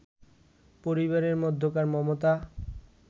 পরিবারের মধ্যকার মমতা